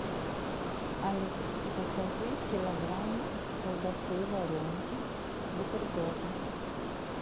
алиса закажи килограмм колбасы варенки бутербродной